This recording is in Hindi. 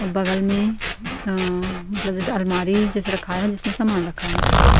बगल में आ मतलब जैसे अलमारी जैसे रखा है जिसमें सामान रखाया हुआ हैं ।